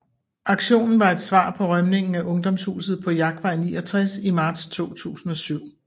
Aktionen var et svar på rømningen af Ungdomshuset på Jagtvej 69 i marts 2007